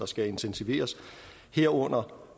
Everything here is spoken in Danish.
skal intensiveres herunder for